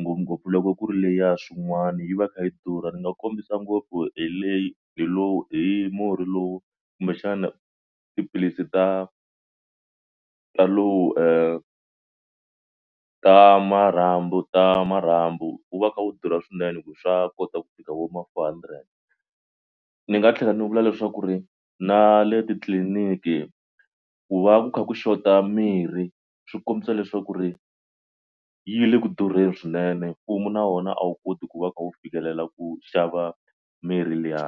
ngopfungopfu loko ku ri leya swin'wana yi va yi kha yi durha ni nga kombisa ngopfu hi leyi hi lowu hi murhi lowu kumbexana tiphilisi ta ta lowu ta marhambu ta marhambu wu va kha wu durha swinene hi ku swa kota ku fika vo ma four hundred. Ni nga tlhela ni vula leswaku ri na le titliliniki ku va ku kha ku xota mirhi swi kombisa leswaku ri yi le ku durheli swinene mfumo na wona a wu koti ku va kha wu fikelela ku xava mirhi liya.